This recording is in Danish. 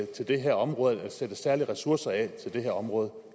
til det her område sættes særlige ressourcer af til det her område